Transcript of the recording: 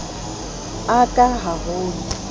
a ka ha ho na